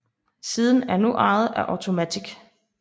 Siden er nu ejet af Automattic